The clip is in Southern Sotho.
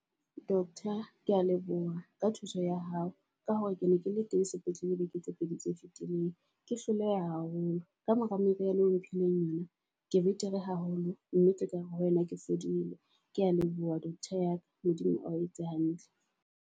Doctor ke a leboha ka thuso ya hao ka hore ke ne ke le teng sepetlele beke tse pedi tse fetileng. Ke hloleha haholo ka mora meriana eo o mphileng yona. Ke betere haholo mme ke ka hare ho wena ke fodile, kea leboha doctor ya ka. Modimo ao etse hantle.